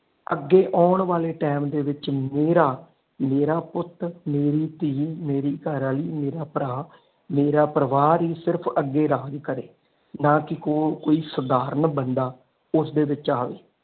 ਅਗੇ ਆਉਣ ਵਾਲੇ ਟੀਮ ਦੇ ਵਿਚ ਮੇਰਾ ਮੇਰਾ ਪੁੱਤ, ਮੇਰੀ ਧੀ, ਮੇਰੀ ਘਰਵਾਲੀ, ਮੇਰਾ ਭਰਾ ਮੇਰਾ ਪਰਿਵਾਰ ਹੀ ਸਿਰਫ ਅਗੇ ਰਾਜ ਕੇਰੇ ਨਾ ਕਿ ਕੋਈ ਸਾਧਾਰਨ ਬੰਦਾ ਉਸਦੇ ਵਿਚ ਆਵੇ।